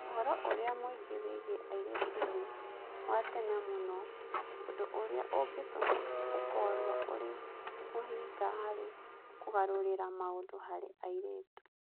Ũhoro ũrĩa mũingĩ wĩgiĩ airĩtu nĩ wa tene mũno, ũndũ ũrĩa ũngĩtũma ũkorũo ũrĩ mũhĩnga harĩ kũgarũrĩra maũndũ harĩ airĩtu.